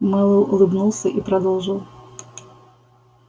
мэллоу улыбнулся и продолжил